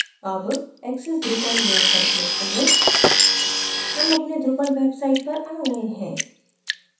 अब access drupal link पर click करें हम अपने drupal website पर आ गए हैं